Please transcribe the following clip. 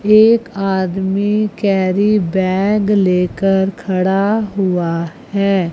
एक आदमी carry bag लेकर खड़ा हुआ है।